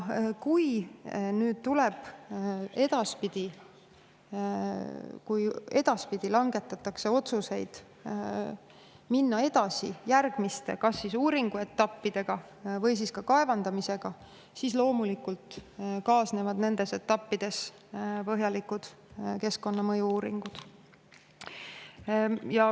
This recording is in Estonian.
Kui nüüd edaspidi langetatakse otsuseid, kas minna edasi järgmiste uuringuetappidega või kaevandamisega, siis loomulikult kaasnevad nendes etappides põhjalikud keskkonnamõju uuringud.